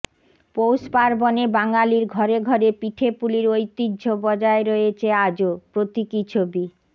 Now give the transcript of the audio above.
পৌষ পার্বণে বাঙালির ঘরে ঘরে পিঠেপুলির ঐতিহ্য বজায় রয়েছে আজও প্রতীকী ছবি